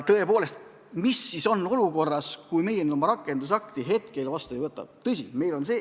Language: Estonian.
Tõepoolest, mis siis saaks, kui meie seda rakendusakti käsitlevat seadust vastu ei võta?